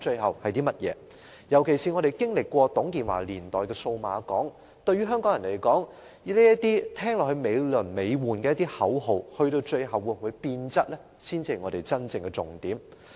尤其是我們曾經經歷過董建華年代的數碼港，對於香港人來說，這些驟耳聽來美輪美奐的口號最後會否變質，才是真正的重點。